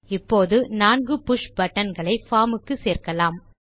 இப்போது நான்கு push button களை பார்ம் க்கு சேர்க்கலாம்